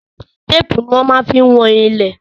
Téépù ni wọn fi máa ń wọn ilẹ̀